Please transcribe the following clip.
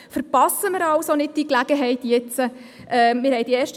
Verpassen wir also diese Gelegenheit nun nicht.